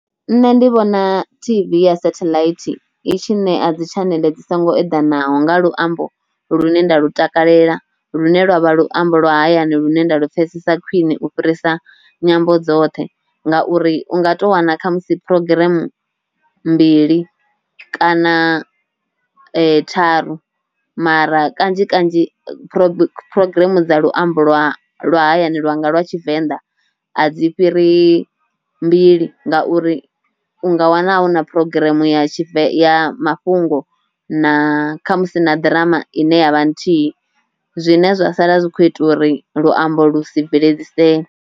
Nṋe ndi vhona tv ya sathelaithi i tshi nea dzi tshaneḽe dzi songo eḓanaho nga luambo lu ne nda lu takalela lune lwavha luambo lwa hayani lune nda lu pfhesesa khwiṋe u fhirisa nyambo dzoṱhe, ngauri unga tou wana kha musi programm mbili kana tharu mara kanzhi kanzhi prog phurogireme dza luambo lwa lwa hayani lwa nga lwa tshivenḓa a dzi fhiri mbili, nga uri u nga wana hu na programm ya tshive ya mafhungo na kha musi na ḓirama ine ya vha nthihi zwine zwa sala zwi kho ita uri luambo lu si bveledzisee.